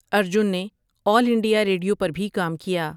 ارجن نے All India Radio پر بھی کام کیا ۔